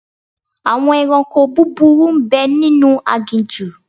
Àwọn ẹranko búburú ń bẹ nínú aginjù.